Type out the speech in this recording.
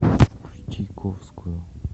включи ковскую